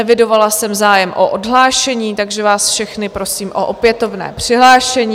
Evidovala jsem zájem o odhlášení, takže vás všechny prosím o opětovné přihlášení.